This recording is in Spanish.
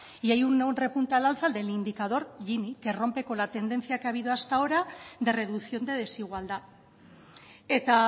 y hay un repunte al alza del indicador gini que rompe con la tendencia que ha habido hasta ahora de reducción de desigualdad eta